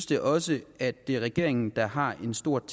det også at det er regeringen der har et stort